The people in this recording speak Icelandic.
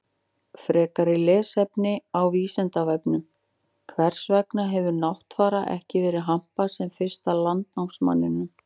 Frekara lesefni á Vísindavefnum: Hvers vegna hefur Náttfara ekki verið hampað sem fyrsta landnámsmanninum?